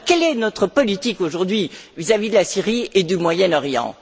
Quelle est donc notre politique aujourd'hui vis à vis de la Syrie et du Moyen Orient?